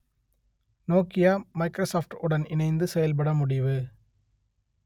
Nokia Microsoft உடன் இணைந்து செயல்பட முடிவு